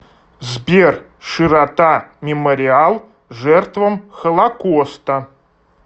сбер широта мемориал жертвам холокоста